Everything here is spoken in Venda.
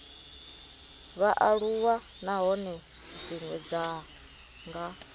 vhaaluwa nahone dzine dza nga